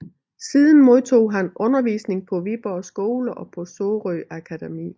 Siden modtog han undervisning på Viborg Skole og på Sorø Akademi